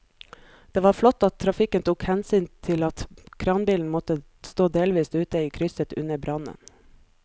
Det var flott at trafikken tok hensyn til at kranbilen måtte stå delvis ute i krysset under brannen.